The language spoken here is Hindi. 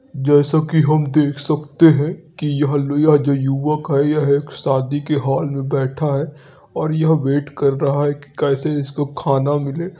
जैसा कि हम देख सकते हैं कि यह लु यह जो युवक है यह एक शादी के हाल में बैठा है और यह वेट कर रहा है कि कैसे इसको खाना मिले।